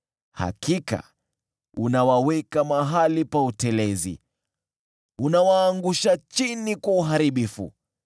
Hakika unawaweka mahali pa utelezi, unawaangusha chini kwa uharibifu.